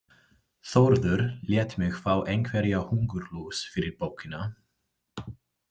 Þórður lét mig fá einhverja hungurlús fyrir bókina.